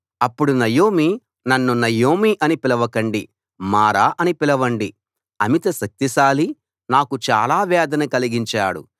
అప్పుడు నయోమి నన్ను నయోమి అని పిలవకండి మారా అని పిలవండి అమిత శక్తిశాలి నాకు చాలా వేదన కలిగించాడు